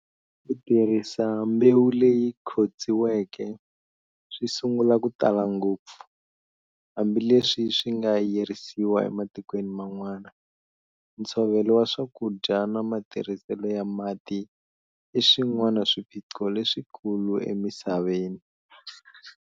Kutirhisa mbewu leyi khotsiweke, swisungula ku tala ngopfu, hambi leswi swinga yirisiwa ematikweni man'wana. Ntshovelo wa swakudya na matirhisele ya mati iswin'wana swiphiqo leswikulu emisaveni.